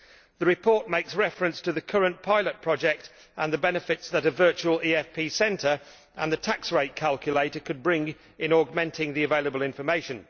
The report makes reference to the current pilot project and to the benefits that a virtual EFP centre and the tax rate calculator could bring in terms of augmenting available information.